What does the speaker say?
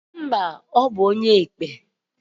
Mba o onye akpikpi di ka ya!